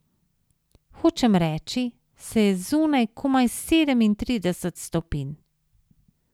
Hočem reči, saj je zunaj komaj sedemintrideset stopinj.